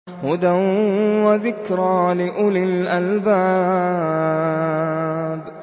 هُدًى وَذِكْرَىٰ لِأُولِي الْأَلْبَابِ